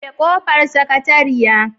Rufe kofar Sakatariyar